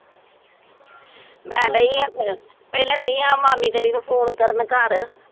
ਮੈਂ ਦੇਈਂ ਹਾਂ, ਪਹਿਲਾਂ ਦੇਈਂ ਹਾਂ ਮਾਮੀ ਤੇਰੀ ਨੂੰ ਫੋਨ ਕਰਨ ਘਰ